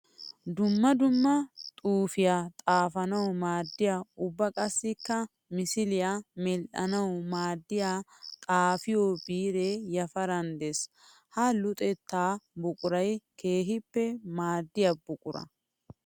Dumma dumma xuufiya xaafanawu maadiya ubba qassikka misiliya medhdhanawu maadiya xaafiyo biire yafaran de'ees. Ha luxetta buquray keehippe maadiya buqura.